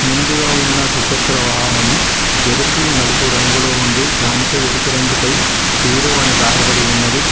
ముందుగా ఉన్న ద్విచక్ర వాహనము ఎరుపు నలుపు రంగులో ఉండే దానిపై ఎరుపు రంగు పై హీరో అని రాయబడి ఉన్నది.